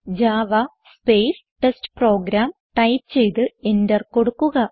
Java space test program type ചെയ്ത് enter കൊടുക്കുക